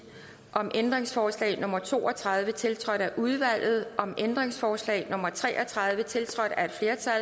om ændringsforslag nummer to og tredive tiltrådt af udvalget om ændringsforslag nummer tre og tredive tiltrådt af